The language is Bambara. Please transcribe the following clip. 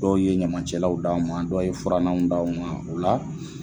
Dɔw ye ɲamancɛlaw d'anw ma, dɔw ye furannanw d'anw ma, o la